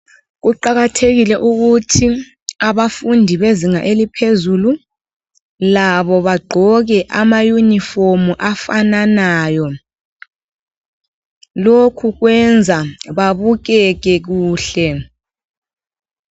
Kuqakathekile ukuthi abafundi bezinga eliphezulu labo bagqoke ama yunifomu afananayo ,lokhu kwenza babukeke kuhle.